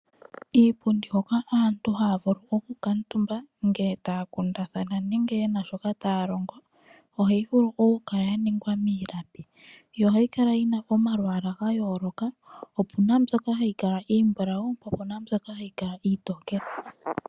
Iipundi hoka aantu haya vulu okukaatumba ngele taya kundathana nenge yena shoka taya longo, ohayi vulu okukala ya ningwa miipilangi. Yo ohayi kala yina omalwaala ga yooloka, opuna mbyoka hagi kala iimbulawu po opuna mbyoka hayi kala iitokele.